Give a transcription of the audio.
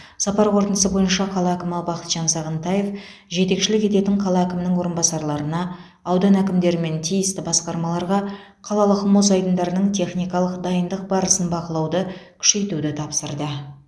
сапар қорытындысы бойынша қала әкімі бақытжан сағынтаев жетекшілік ететін қала әкімінің орынбасарларына аудан әкімдері мен тиісті басқармаларға қалалық мұз айдындарының техникалық дайындық барысын бақылауды күшейтуді тапсырды